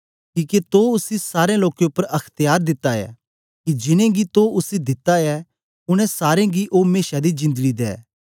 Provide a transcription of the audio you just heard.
किके तो उसी सारे लोकें उपर अख्त्यार दिता ऐ कि जिनेंगी तो उसी दिता ऐ उनै सारे गी ओ मेशा दी जिंदड़ी दे